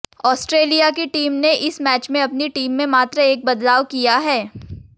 Australia की team ने इस मैच में अपनी टीम में मात्र एक बदलाव किया है